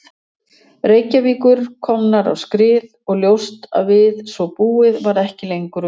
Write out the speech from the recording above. Reykjavíkur komnar á skrið og ljóst að við svo búið varð ekki lengur unað.